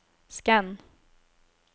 skann